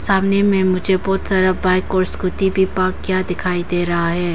सामने में मुझे बहुत सारा बाइक और स्कूटी भी पार्क किया दिखाई दे रहा है।